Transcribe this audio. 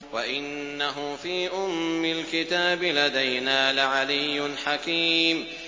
وَإِنَّهُ فِي أُمِّ الْكِتَابِ لَدَيْنَا لَعَلِيٌّ حَكِيمٌ